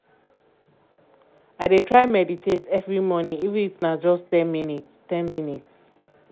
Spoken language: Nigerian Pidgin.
i dey try meditate every morning even if na just ten minutes. ten minutes.